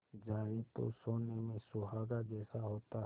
जाए तो सोने में सुहागा जैसा होता है